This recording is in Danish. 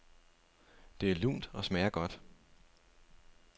Det er lunt og smager godt.